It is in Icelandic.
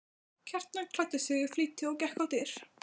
Kjartan klæddi sig í flýti og gekk á dyr.